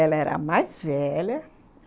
Ela era a mais velha.